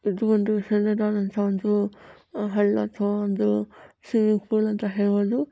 ಇದು ಒಂದೂ ಸಣ್ಣದಾದಂತಹ ಒಂದು ಹಳ್ಳ ಅಥವಾ ಒಂದು ಸ್ವಿಮ್ಮಿಂಗ್ ಫೂಲ್ ಅಂತಾ ಹೇಳಬಹುದು.